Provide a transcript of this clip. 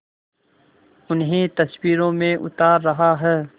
उन्हें तस्वीरों में उतार रहा है